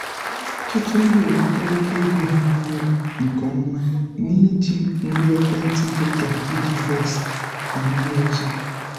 ọtụtụ ndị ewetala ego ha n’ọrụ nke ọma site n’iji ngwa ekwentị dị ka piggyvest na ndị ọzọ.